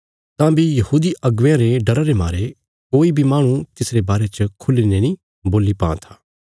तां बी यहूदी अगुवेयां रे डरा रे मारे कोई बी माहणु तिसरे बारे च खुल्ही ने नीं बोल्ली पां था